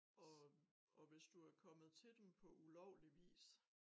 Og og hvis du er kommet til dem på ulovlig vis